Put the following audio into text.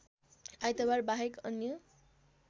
आइतबार बाहेक अन्य